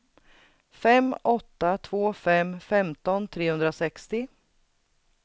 fem åtta två fem femton trehundrasextio